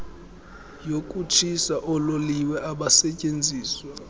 yokutshisa oololiwe abasetyenziswa